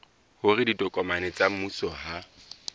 hore ditokomane tsa mmuso ha